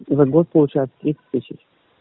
за год получается тридцать тысяч